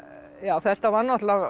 þetta var náttúrulega